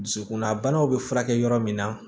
Dusukunna banaw bɛ furakɛ yɔrɔ min na